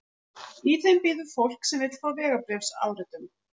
Í þeim bíður fólk sem vill fá vegabréfsáritun.